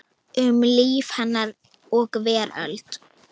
Um líf hennar og veröld.